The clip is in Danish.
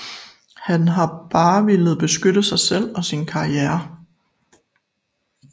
Han har bare villet beskytte sig selv og sin karriere